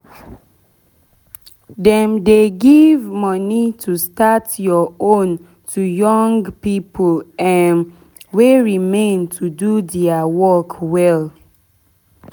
um dem dey give moni to start ur own to young pipo um wey remain to do deir um work well